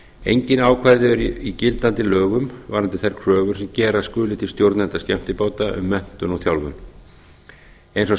engin ákvæði eru í gildandi lögum varðandi þær kröfur sem gera skuli til stjórnenda skemmtibáta um menntun og þjálfun eins og staðan